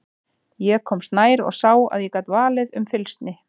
Ég komst nær og sá að ég gat valið um fylgsni.